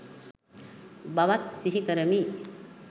බවත් සිහි කරමි.